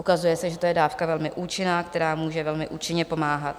Ukazuje se, že to je dávka velmi účinná, která může velmi účinně pomáhat.